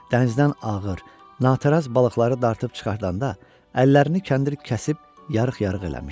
Dənizdən ağır, nataraz balıqları dartıb çıxardanda əllərini kəndir kəsib yarıq-yarıq eləmişdi.